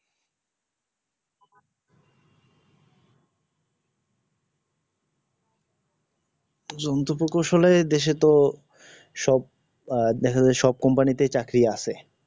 যন্ত্র কৌশলের দেশে তো সব আহ দেখা যায় সব company তেই চাকরী আছে